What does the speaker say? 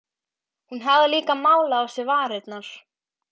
Hún hafði líka málað á sér varirnar.